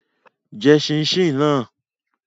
Jẹ ṣíín-ṣiìn náà!